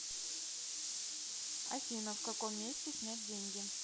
афина в каком месте снять деньги